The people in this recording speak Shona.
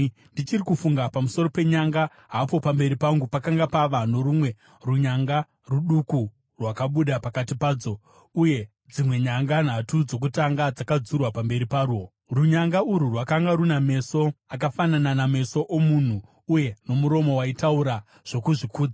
“Ndichiri kufunga pamusoro penyanga, hapo pamberi pangu pakanga pava norumwe runyanga, ruduku rwakabuda pakati padzo; uye dzimwe nyanga nhatu dzokutanga dzakadzurwa pamberi parwo. Runyanga urwu rwakanga runa meso akafanana nameso omunhu uye nomuromo waitaura zvokuzvikudza.